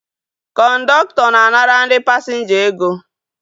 Kọndọktọ na-anara ndị pasinja ego